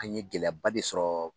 An ye gɛlɛyaba de sɔrɔ.